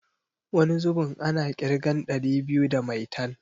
Wani zubin ana ƙirgen ɗari biyu da maitan.